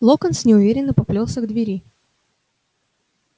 локонс неуверенно поплёлся к двери